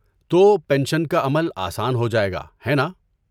تو پنشن کا عمل آسان ہو جائے گا، ہے ناں؟